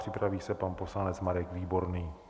Připraví se pan poslanec Marek Výborný.